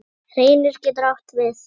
Reynir getur átt við